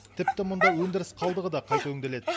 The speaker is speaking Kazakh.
тіпті мұнда өндіріс қалдығы да қайта өңделеді